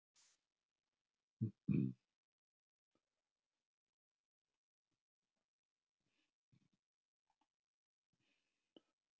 Hann hefur nú jafnað sig og er með á morgun.